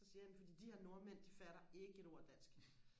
så siger han fordi de her nordmænd de fatter ikke et ord af dansk